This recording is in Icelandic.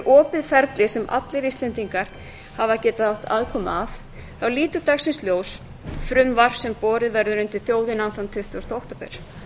opið ferli sem allir íslendingar hafa getað átt aðkomu að leit dagsins ljós frumvarp sem borið verður undir þjóðina þann tuttugasta október